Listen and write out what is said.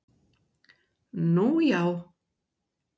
Nú já?